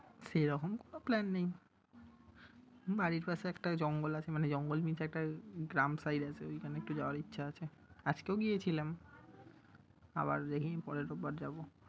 সেইরকম কোন plan নেই। বাড়ির পাশে একটা জঙ্গল আছে, মানে জঙ্গল means একটা গ্রাম side আছে ওইখানে একটু যাওয়ার ইচ্ছা আছে। আজকেও গিয়েছিলাম। আবার দেখি পরের রোববার যাবো।